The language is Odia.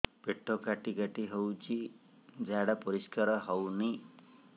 ପେଟ କାଟି କାଟି ହଉଚି ଝାଡା ପରିସ୍କାର ହଉନି